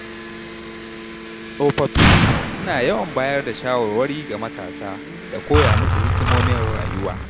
Tsofaffi suna yawan bayar da shawarwari ga matasa da koya musu hikimomin rayuwa.